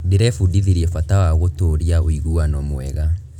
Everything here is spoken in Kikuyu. Ndĩrebundithirie bata wa gũtũũria ũiguano mwega.